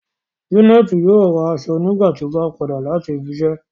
Janẹtì yóò rá awọn aṣọ̀ nígbàtí ọ bá padà lati ibìíṣẹ